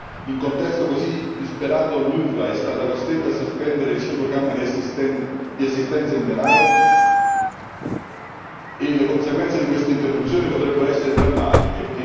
In un contesto così disperato l'UNRWA è stata costretta a sospendere il suo programma di assistenza in denaro e le conseguenze di questa interruzione potrebbero essere drammatiche.